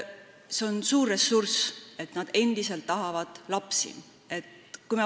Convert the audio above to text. See on suur ressurss, et nad endiselt tahavad lapsi.